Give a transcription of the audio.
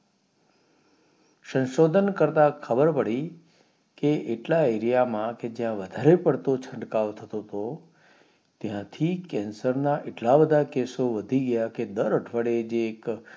શંશોધન કરતા ખબર પડી કે એટલા area માં કે જ્યાં વધારે પડતો છટકાવ થતો તો ત્યાંથી cancer ના એટલા બધા કેસો વધી ગયા કે દર અઠવાડિયે જે એક